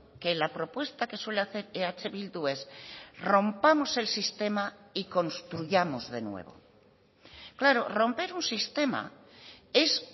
que la propuesta que suele hacer eh bildu es rompamos el sistema y construyamos de nuevo claro romper un sistema es